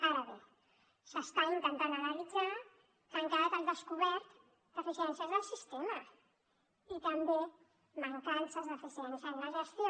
ara bé s’està intentant analitzar que han quedat al descobert deficiències del sistema i també mancances d’eficiència en la gestió